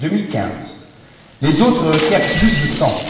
2015 les autres requièrent plus de temps.